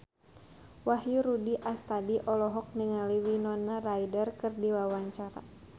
Wahyu Rudi Astadi olohok ningali Winona Ryder keur diwawancara